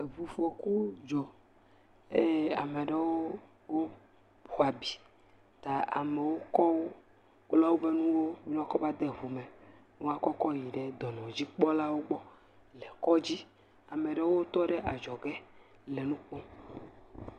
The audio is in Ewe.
Eŋu fɔku dzɔ eye ame ɖewo xɔ abi ta amewo kɔ bla woƒe nuwo ne woa kɔ yi de ŋu me ne woakɔ kɔ va de ŋu me ne woakɔ kɔ yi ɖe dɔnɔdzikpɔlawo gbɔ le kɔdzi. Ame ɖewo tɔ ɖe adzɔge le nu kpɔm.